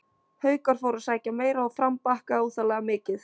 Haukar fóru að sækja meira og Fram bakkaði óþarflega mikið.